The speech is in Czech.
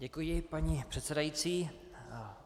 Děkuji, paní předsedající.